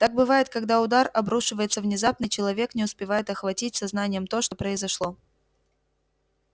так бывает когда удар обрушивается внезапно и человек не успевает охватить сознанием то что произошло